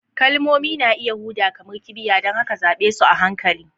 Kalmomi na iya huda kamar kibiya, don haka zaɓe su a hankali.